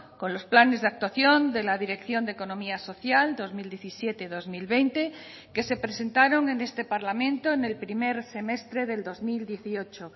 con los planes de actuación de la dirección de economía social dos mil diecisiete dos mil veinte que se presentaron en este parlamento en el primer semestre del dos mil dieciocho